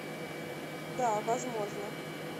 да возможно